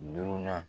Duurunan